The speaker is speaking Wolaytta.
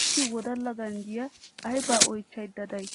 issi wodala ganjjiya ayibaa oyichchayidda day?